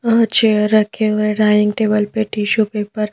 और चेयर रखे हुए डाइनिंग टेबल पे टिशू पेपर --